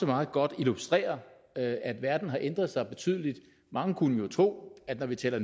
meget godt illustrerer at at verden har ændret sig betydeligt mange kunne jo tro at når vi taler